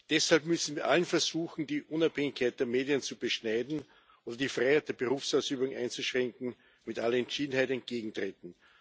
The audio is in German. Deshalb müssen wir allen Versuchen, die Unabhängigkeit der Medien zu beschneiden und die Freiheit der Berufsausübung einzuschränken, mit aller Entschiedenheit entgegentreten.